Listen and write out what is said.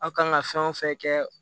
Aw kan ka fɛn o fɛn kɛ